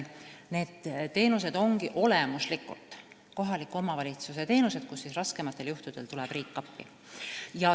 Need teenused ongi olemuslikult kohaliku omavalitsuse teenused, mille raskematel juhtudel tuleb riik appi.